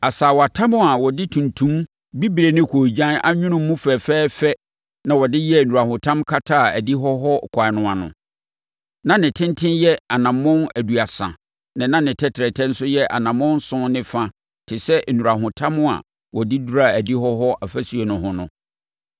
Asaawatam a wɔde tuntum, bibire ne koogyan anwono mu fɛfɛɛfɛ na wɔde yɛɛ nnurahotam kataa adihɔ hɔ ɛkwan no ano. Na ne tenten yɛ anammɔn aduasa na ne tɛtrɛtɛ nso yɛ anammɔn nson ne fa te sɛ nnurahotam a wɔde duraa adihɔ hɔ afasuo no ho no.